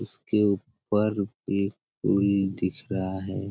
इसके ऊपर एक कोई दिख रहा है।